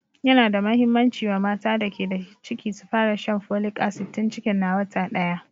Yana da muhimmanci wa mata da ke da ciki su fara shan folic acid tun cikin na wata ɗaya